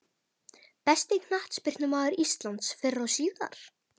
Besti knattspyrnumaður íslands fyrr og síðar?